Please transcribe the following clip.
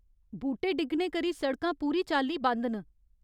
बूह्टे डिग्गने करी सड़कां पूरी चाल्ली बंद न।